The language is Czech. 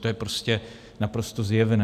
To je prostě naprosto zjevné.